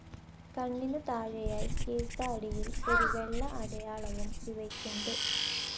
കണ്ണിനു താഴെയായി കീഴ്ത്താടിയിൽ ഒരു വെള്ള അടയാളവും ഇവയ്ക്കുണ്ട്.